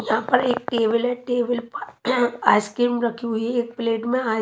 यहाँ पर एक टेबल है टेबल पर आइसक्रीम रखी हुई है एक प्लेट में --